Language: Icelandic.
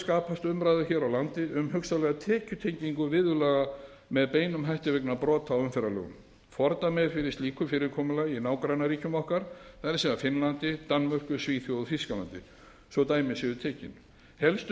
skapast umræða hér á landi um hugsanlega tekjutengingu viðurlaga með beinum hætti vegna brota á umferðarlögum fordæmi er fyrir slíku fyrirkomulagi í nágrannaríkjum okkar það er finnlandi danmörku svíþjóð og þýskalandi svo dæmi séu tekin helstu